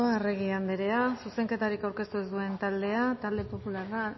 arregi andrea zuzenketarik aurkeztu ez duen taldea